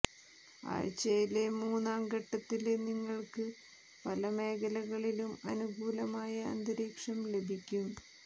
ആഴ്ചയിലെ മൂന്നാം ഘട്ടത്തില് നിങ്ങള്ക്ക് പല മേഖലകളിലും അനുകൂലമായ അന്തരീക്ഷം ലഭിക്കും